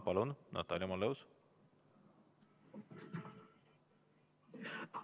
Palun, Natalia Malleus!